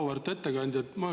Auväärt ettekandja!